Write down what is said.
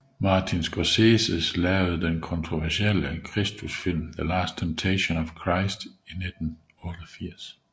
Martin Scorsese lavede den kontroversielle kristusfilm The Last Temptation of Christ i 1988